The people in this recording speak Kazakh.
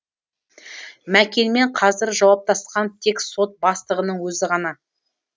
мәкенмен қазір жауаптасқан тек сот бастығының өзі ғана